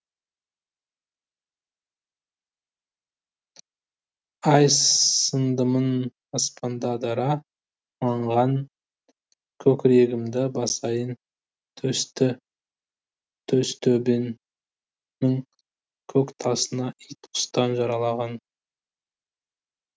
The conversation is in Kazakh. ай сындымын аспанда дара маңған көкірегімді басайын төстөбенің көк тасына ит құстан жараланған